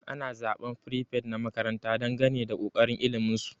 Ana zaban prefet na makaranta dangane da kokarin ilimin su.